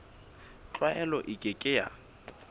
tlwaelo e ke ke ya